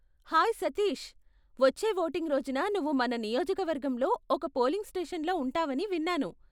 Hey Satish, వచ్చే voting రోజున నువ్వు మన నియోజకవర్గంలో ఒక పోలింగ్ స్టేషన్లో ఉంటావని విన్నాను.